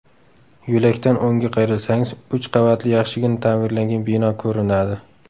Yo‘lakdan o‘ngga qayrilsangiz, uch qavatli yaxshigina ta’mirlangan bino ko‘rinadi.